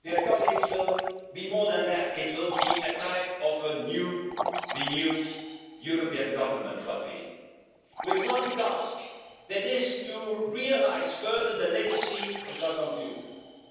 And here is where the Commission should have been more ambitious with the agricultural reform. The European Union has also always promised prosperity, but we are far away from the triple A rating that we should have, I agree, on social